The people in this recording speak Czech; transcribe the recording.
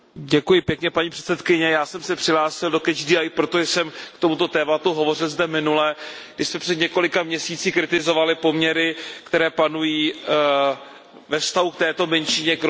Paní předsedající, já jsem se přihlásil do protože jsem k tomuto tématu hovořil zde minule, když jsme před několika měsíci kritizovali poměry, které panují ve vztahu k této menšině Rohingyů.